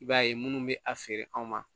I b'a ye minnu bɛ a feere anw ma